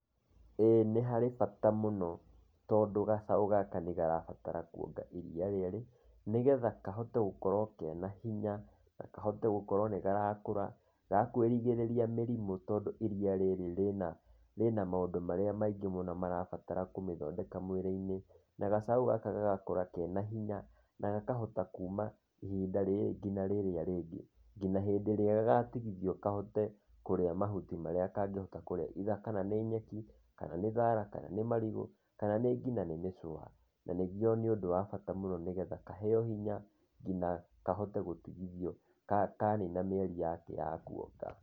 Ĩĩ nĩ harĩ bata mũno, tondũ gacaũ gaka nĩ karabatara kuonga iria rĩrĩ, nĩgetha kahote gũkorwo kena hinya, na kahote gũkorwo nĩ karakũra gakũĩrigĩrĩria mĩrimũ tondũ iria rĩrĩ rĩna rĩna maũndũ marĩa maingĩ marabatara kũmĩthondeka mwĩrĩ-inĩ, na gacaũ gaka gagakũra kena hinya, na gakahota kuuma ihinda rĩrĩ nginya rĩrĩa rĩngĩ nginya hĩndĩ ĩrĩa gagatigithio kahote kũrĩa mahuti marĩa kangĩhota kũrĩa either kana nĩ nyeki, kana nĩ thaara, kana nĩ marigũ, kana nĩ nĩngĩ ngĩnya mĩchũa, na nĩguo nĩ ũndũ wa bata mũno nĩgetha kaheyo hinya, ngina kahote gũtigithio kanina mĩeri yake ya kuonga.